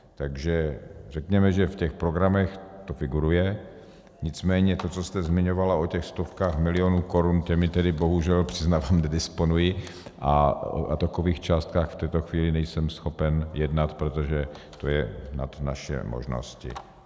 Takže řekněme, že v těch programech to figuruje, nicméně to, co jste zmiňovala o těch stovkách milionů korun, těmi tedy bohužel, přiznávám, nedisponuji a o takových částkách v této chvíli nejsem schopen jednat, protože to je nad naše možnosti.